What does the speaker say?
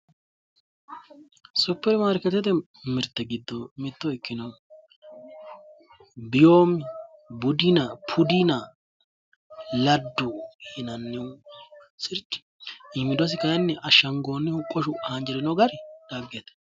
Supermarkeetete giddo mitto ikkinohu diyoomibudinapudinaladdu yinannihu sirchi iimiidosi kayinni ashdhangoonnihu qoshu haanjirino gari dhaggete.